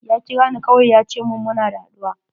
Ya kira ni kawai ya ce mun muna da haɗuwa.